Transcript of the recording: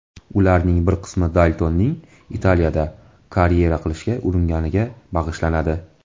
Ularning bir qismi Daltonning Italiyada karyera qilishga uringaniga bag‘ishlanadi.